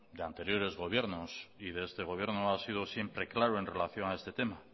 de anteriores gobiernos y de este gobierno ha sido siempre claro en relación a este tema